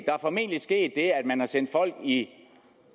er formentlig sket det at man har sendt folk i